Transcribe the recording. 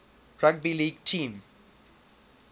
rugby league team